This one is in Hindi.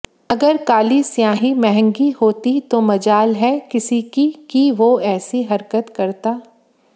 अगर काली स्याही महंगी होती तो मजाल है किसी की कि वो ऐसी हरकते करता